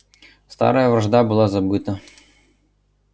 старая вражда была забыта